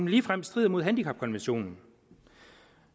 ligefrem strider mod handicapkonventionen